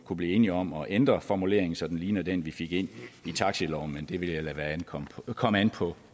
kunne blive enige om at ændre formuleringen så den ligner den vi fik ind i taxaloven men det vil jeg lade komme komme an på